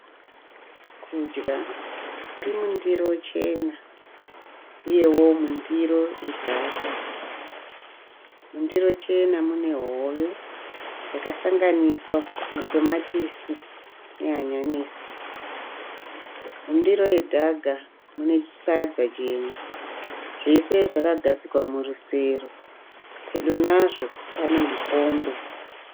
Kudya kuri mundiro chena uyewo mundiro yedhaga. Mundiro chena mune hove yakasanganiswa matomatisi nehanyanisi. Mundiro yedhaga mune sadza jena. Zvese zvakagadzikwa murusero. Pedo nazvo pane mukombe.